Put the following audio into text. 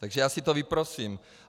Takže já si to vyprosím.